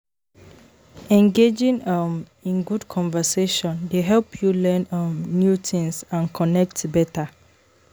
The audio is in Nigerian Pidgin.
Engaging um in good conversation dey help you learn um new things and connect better.